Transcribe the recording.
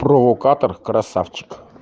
провокатор красавчик